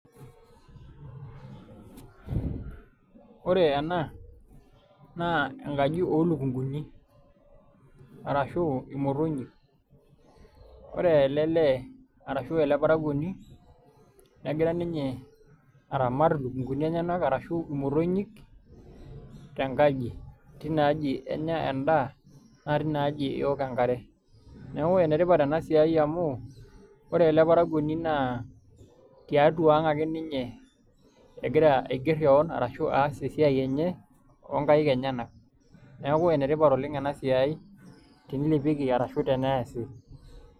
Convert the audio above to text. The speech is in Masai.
Ore ena naa enkaji oolukunkuni, arashu imotonyik. ore ele lee arashu ele parakuoni negira ninye aramata ilukunkuni enyenak arashu imotonyik tenkaji tina aji enya endaa naa tina aji eok enkare. neeku enetipat ena siai amu ore ele parakuoni naa tiatua ang' ake ninye egira aigerr keon ashu aas esiai enye onkaik enyenak neeku enetipat oleng' ena siai tenilepieki ashu teneesi.